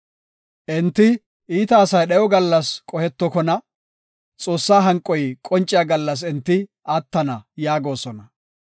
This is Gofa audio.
Enti, ‘Iita asay dhayo gallas qohetokona; Xoossaa hanqoy qonciya gallas enti attana’ yaagosona.